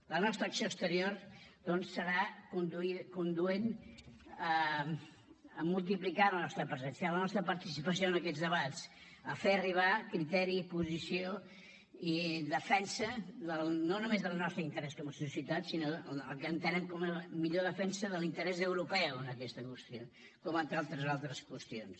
la nostra acció exterior doncs serà conduent a multiplicar la nostra presencia la nostra participació en aquests debats a fer arribar criteri i posició i defensa no només del nostre interès com a societat sinó el que entenem com a millor defensa de l’interès europeu en aquesta qüestió com en tantes altres qüestions